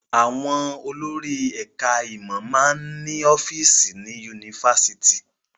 Àwọn olórí ẹ̀ka-ìmọ̀ máa ń ní ọ́fíísì ní yunifásitì.